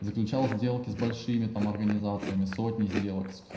заключал сделки с большими там организациями сотни сделок к с